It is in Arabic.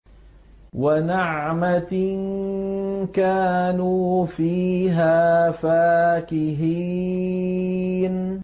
وَنَعْمَةٍ كَانُوا فِيهَا فَاكِهِينَ